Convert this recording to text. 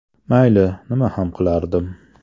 Mayli, nima ham qilardim.